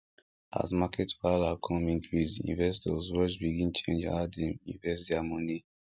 as market wahala come increase investors rush begin change how dem invest their money